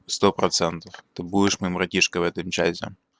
сто процентов ты будешь моим братишкой в этом чате